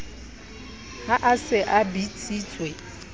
ha a se a bitsitswe